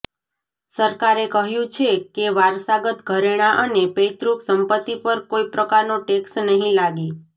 સરકારે કહ્યું છે કે વારસાગત ઘરેણાં અને પૈતૃક સંપત્તિ પર કોઈ પ્રકારનો ટેક્સ નહીં લાગે